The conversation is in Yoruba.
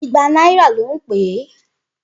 Igba náírà ló ń pè é.